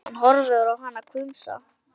Hann horfir á hana hvumsa.